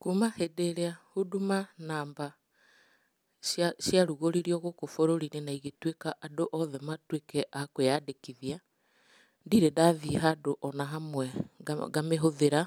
Kuma hĩndĩ ĩrĩa Huduma namba ciarugoririo gũkũ bũrũri-inĩ na andũ othe matũĩke a kwĩyandĩkithia, ndirĩ ndathiĩ ona handũ hamwe ngamĩhũthira,